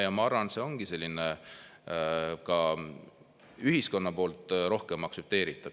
Ja ma arvan, et see on ka ühiskonnas rohkem aktsepteeritav.